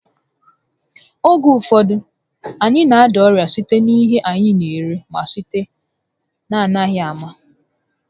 Oge ụfọdụ, anyị na- ada n'orịa site n'ihe anyị n'eri ma sitekwa n'amaghị ámá